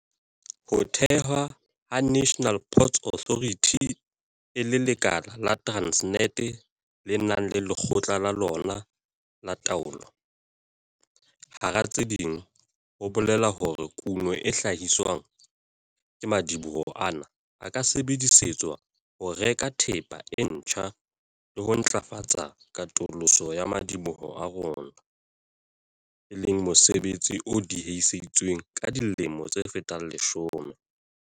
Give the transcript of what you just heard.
Ho thewa ha National Ports Authority e le lekala la Transnet le nang le lekgotla la lona la taolo, hara tse ding, ho bolela hore kuno e hla-hiswang ke madiboho ana e ka sebedisetswa ho reka thepa e ntjha le ho ntlafatsa katoloso ya madiboho a rona, e leng mosebetsi o diehisitsweng ka dilemo tse fetang leshome.